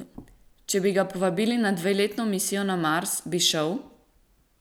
Če bi ga povabili na dveletno misijo na Mars, bi šel?